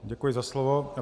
Děkuji za slovo.